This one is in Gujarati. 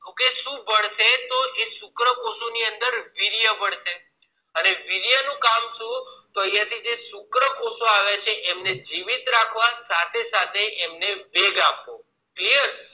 Okay એ શુક્રકોષો ની અંદર વીર્ય બનશે અને વીર્ય નું કામ શું છે તો અહિયાં થી જે શુક્રકોષો આવે છે એમને જીવિત રાખવા સાથે સાથે વેગ આપવો